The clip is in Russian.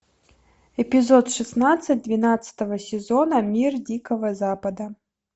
эпизод шестнадцать двенадцатого сезона мир дикого запада